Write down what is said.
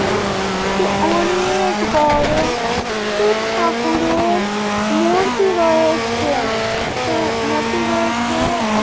এখানে একটি অনে-এ-এক বড় শিব ঠাকুরের মূর্তি রয়েছে। হাঁ মূর্তি রয়েছে আ